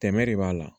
Tɛmɛ de b'a la